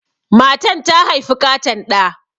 Matan ta haifi ƙaton ɗa.